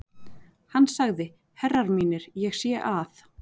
Hann sagði: Herrar mínir, ég sé að.